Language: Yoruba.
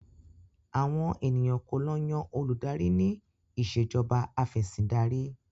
Àwọn ènìyàn kò lo yan oludari ní Ìṣèjọba Afẹ̀sìndarí